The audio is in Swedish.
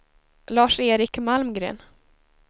Lars-Erik Malmgren